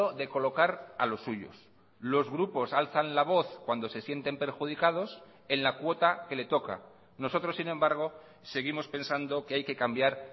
de colocar a los suyos los grupos alzan la voz cuando se sienten perjudicados en la cuota que le toca nosotros sin embargo seguimos pensando que hay que cambiar